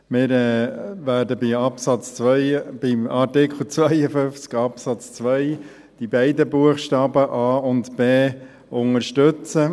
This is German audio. Wir werden bei Artikel 52 Absatz 2 beide Buchstaben, a und b, unterstützen.